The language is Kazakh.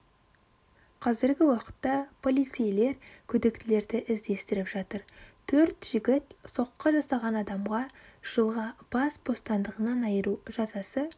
қазіргі уақытта полицейлер күдіктілерді іздестіріп жатыр төр жігіт соққы жасаған адамға жылға бас бостандығынан айыру жазасы